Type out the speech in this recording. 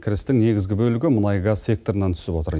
кірістің негізгі бөлігі мұнай газ секторынан түсіп отыр